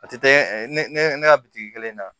A tɛ ne ka bitiki kelen na